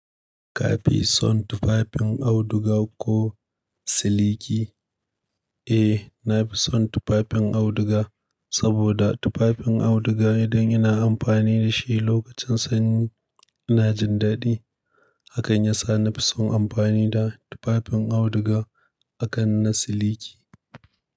Ka fi son tufafin auduga ko siliki? Eh, na fi son tufafin auduga saboda tufafin auduga idan ina amfani da shi lokacin sanyi ina jin dadi. Hakan ya sa na fi son amfani da tufafin auduga akan na siliki.